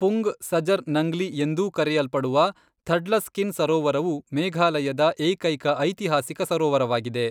ಪುಂಗ್ ಸಜರ್ ನಂಗ್ಲಿ ಎಂದೂ ಕರೆಯಲ್ಪಡುವ ಥಡ್ಲಸ್ಕಿನ್ ಸರೋವರವು ಮೇಘಾಲಯದ ಏಕೈಕ ಐತಿಹಾಸಿಕ ಸರೋವರವಾಗಿದೆ.